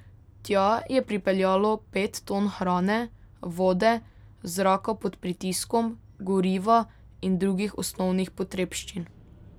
Tja je pripeljalo pet ton hrane, vode, zraka pod pritiskom, goriva in drugih osnovnih potrebščin.